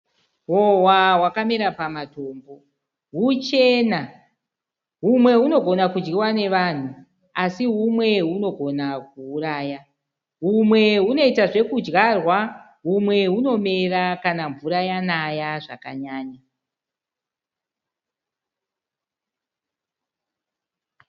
Hohwa wakamira pamatombo , huchena humwe unogona kudyiwa nevanhu asi humwe unogona kuuraya , humwe hunoita zvekudyarwa humwe unomera kana mvura yanaya zvakanyanya